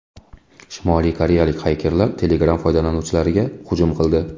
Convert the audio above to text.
Shimoliy koreyalik xakerlar Telegram foydalanuvchilariga hujum qildi.